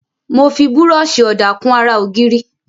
Mo fi búrọ́ọ̀ṣì ọ̀dà kun ara ògiri.